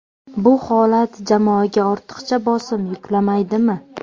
Bu holat jamoaga ortiqcha bosim yuklamaydimi?